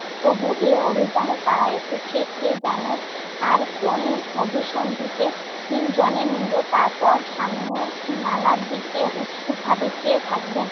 তবুও তারা এ অভিযানে এসেছে কে জানে? আর কোন অভিসন্ধিতে তিনজনে মিলে তারপর সামনের নালার দিকে উৎসুক ভাবে চেয়ে থাকবেন।